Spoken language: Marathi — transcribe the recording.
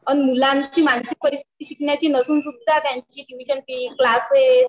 आणि मुलांची मानसिक परिस्थिति नसून सुद्दा त्यांचे ट्युशन फी क्लासेस